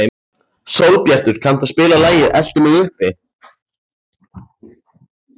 Sólbjartur, kanntu að spila lagið „Eltu mig uppi“?